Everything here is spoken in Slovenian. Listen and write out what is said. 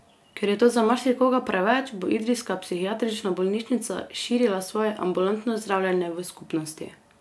Ker je to za marsikoga preveč bo idrijska psihiatrična bolnišnica širila svoje ambulantno zdravljenje v skupnosti.